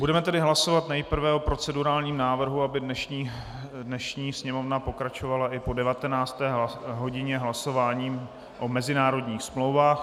Budeme tedy hlasovat nejprve o procedurálním návrhu, aby dnešní sněmovna pokračovala i po 19. hodině hlasováním o mezinárodních smlouvách.